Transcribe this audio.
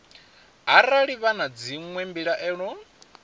arali vha na dzinwe mbilaelo